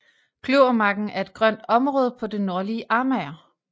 Kløvermarken er et grønt område på det nordlige Amager